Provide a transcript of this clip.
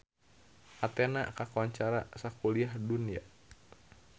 Athena kakoncara sakuliah dunya